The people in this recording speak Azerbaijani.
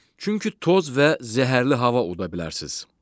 Çünki toz və zəhərli hava udabilərsiniz.